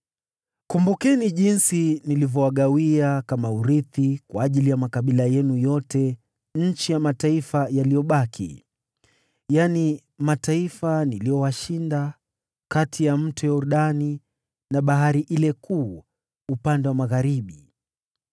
Kumbukeni jinsi nilivyowagawia kama urithi kwa makabila yenu yote nchi ya mataifa yaliyobaki, yaani mataifa niliyowashinda, kati ya Mto Yordani na Bahari kuu upande wa magharibi.